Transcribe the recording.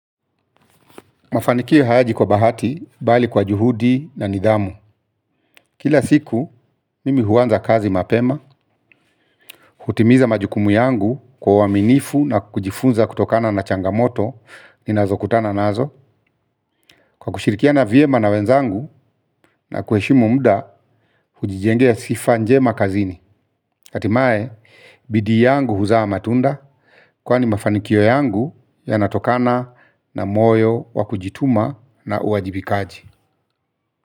Mafanikio hayaji kwa bahati, bali kwa juhudi na nidhamu. Kila siku, mimi huanza kazi mapema. Hutimiza majukumu yangu kwa uaminifu na kujifunza kutokana na changamoto. Ninazokutana nazo. Kwa kushirikiana vyema na wenzangu na kuheshimu muda, hujijengea sifa njema kazini. Hatimaye, bidii yangu huzaa matunda, kwani mafanikio yangu yanatokana na moyo wa kujituma na uwajibikaji.